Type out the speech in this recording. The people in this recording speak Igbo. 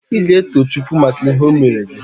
Ị ga-eto Chukwu maka ihe o meere gị?